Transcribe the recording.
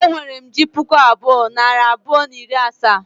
E nwere m ji puku abụọ, nari abụọ, na iri asaa